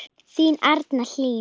Þín, Arna Hlín.